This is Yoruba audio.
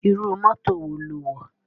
Irú mọ́tò wo lo wọ̀?